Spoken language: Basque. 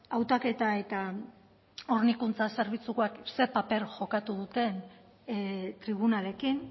hautaketa eta hornikuntza zerbitzukoek zer paper jokatu duten tribunalekin